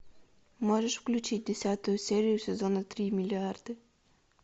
можешь включить десятую серию сезона три миллиарды